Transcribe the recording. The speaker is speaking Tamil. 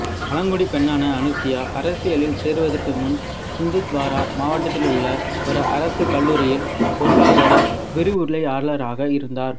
பழங்குடி பெண்ணான அனுசுயா அரசியலில் சேருவதற்கு முன்பு சிந்த்வாரா மாவட்டத்தில் உள்ள ஒரு அரசு கல்லூரியில் பொருளாதார விரிவுரையாளராக இருந்தார்